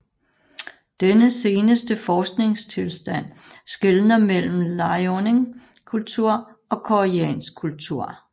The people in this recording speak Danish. Denne seneste forskningstilstand skelner mellem Liaoning kultur og koreansk kultur